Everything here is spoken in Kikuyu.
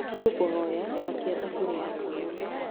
nĩ ngũkũhoya akĩa thũbũria ya kahũa